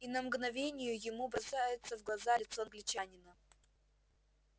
и на мгновение ему бросается в глаза лицо англичанина